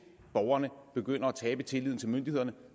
borgerne begynder at tabe tilliden til myndighederne